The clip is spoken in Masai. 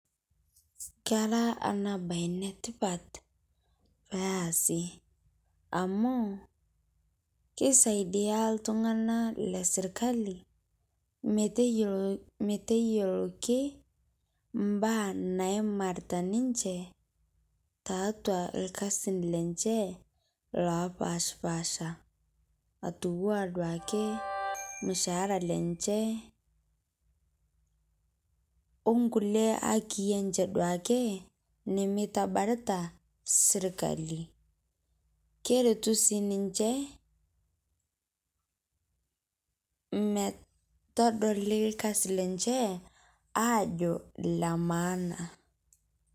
Kera ana bayi netipaat pee easi amu keisadia ltung'ana le sirikali meteiyeloki mbaa naimarita ninchee ta atua lkasin lenchee lopaaspasha atua duake lmushahara lenchee o nkulee haki enchee duake nemeetabarita sirikali. Keretuu sii ninchee metodoli lkasi lenchee ajoo le maana.